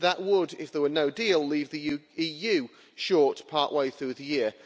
That would, if there were no deal, leave the EU short part way through the year.